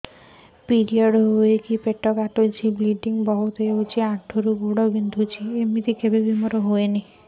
period ହୋଇକି ପେଟ କାଟୁଛି ବ୍ଲିଡ଼ିଙ୍ଗ ବହୁତ ହଉଚି ଅଣ୍ଟା ରୁ ଗୋଡ ବିନ୍ଧୁଛି